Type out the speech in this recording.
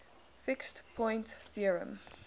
fixed point theorem